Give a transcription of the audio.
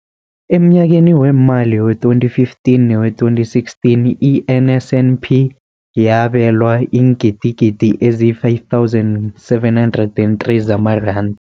Emnyakeni weemali we-2015 newe-2016, i-NSNP yabelwa iingidigidi ezi-5 703 zamaranda.